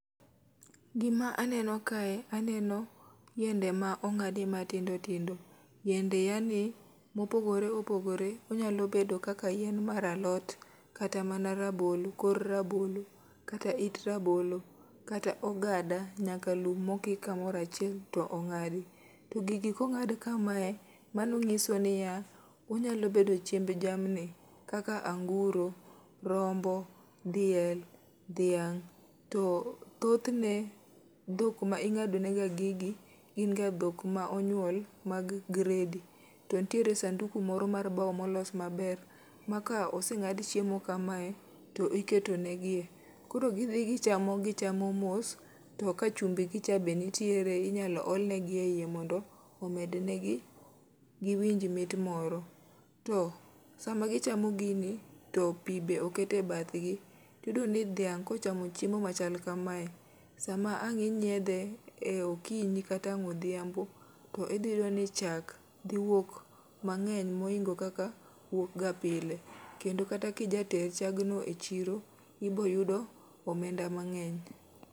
Gima aneno kae, aneno yiende ma ong'adi matindo tindo. Yiende yani mopogore opogore, onyalo bedo kaka yien mar alot kata mana rabolo kor rabolo. Kata it rabolo, kata ogada nyaka lum mokik kamorachiel to ong'adi. To gigi kong'ad kame, mano ng'iso niya, onyalo bedo chiemb jamni. Kaka anguro, rombo, diel, dhiang', to thothne dhok ma ing'ado ne ga gigi gin ga dhok ma onyuol mag gredi. To ntiere sanduku moro mar bau molos maber, ma ka oseng'ad chiemo kamae, to iketo ne gie. Koro gidhi gichamo gichamo mos, to ka chumbi gi cha nitiere, inyalo ol negi e iye mondo giwinj mit moro. To sama gichamo gini to pi be okete bathgi, tiyudo ni dhiang' kochamo chiemo machal kamae, sama ang' inyiedhe e okinyi kata e odhiambo, to idhi iyudo ni chak dhi wuok mang'eny moingo kaka wuok ga pile. Kendo kata kija ter chag no e chiro, ibo yudo omenda mang'eny.